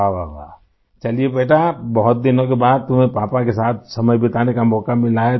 वाहवाह वाह चलिए बेटा बहुत दिनों के बाद तुम्हें पापा के साथ समय बिताने का मौका मिला है